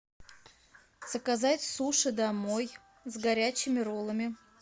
заказать суши домой с горячими роллами